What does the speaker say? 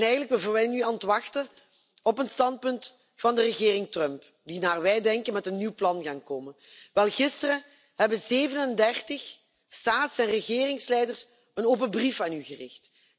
Eigenlijk zijn we nu aan het wachten op een standpunt van de regering Trump, die naar wij denken met een nieuw plan gaat komen. Gisteren hebben 37 staats en regeringsleiders een open brief aan u gericht.